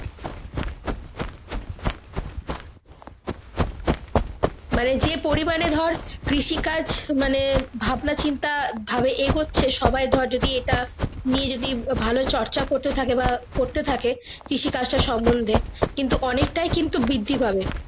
মানে যে পড়ি মানে কৃষি কাজ মানে ভাবনা চিন্তা ভাবে এগোচ্ছে সবাই ধর যদি এটা নিয়ে যদি ভালো চর্চা করতে থাকে বা করতে থাকে কৃষি কাজ তার সমন্ধে কিন্তু অনেকটাই কিন্তু বৃদ্দি পাবে।